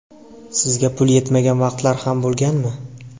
Sizda pul yetmagan vaqtlar ham bo‘lganmi?